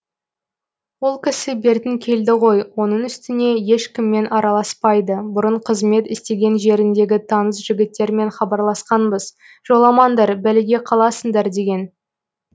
ол кісі бертін келді ғой оның үстіне ешкіммен араласпайды бұрын қызмет істеген жеріндегі таныс жігіттермен хабарласқанбыз жоламаңдар бәлеге қаласыңдар деген